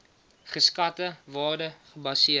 geskatte waarde gebaseer